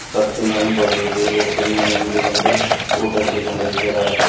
சர்ச்சின் முன் பகுதியில் ஒரு பெண் நின்று நின்று ஃபோட்டோ எடுத்து கொண்டிருக்கிறாள்.